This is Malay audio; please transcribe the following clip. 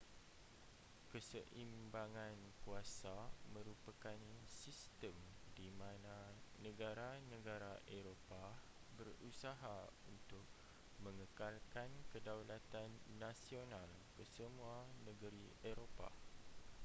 keseimbangan kuasa merupakan sistem di mana negara-negara eropah berusaha untuk mengekalkan kedaulatan nasional kesemua negeri eropah